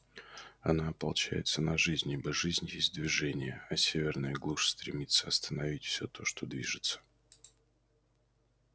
она ополчается на жизнь ибо жизнь есть движение а северная глушь стремится остановить всё то что движется